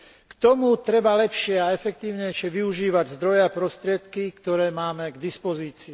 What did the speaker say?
K tomu treba lepšie a efektívnejšie využívať zdroje a prostriedky, ktoré máme k dispozícii.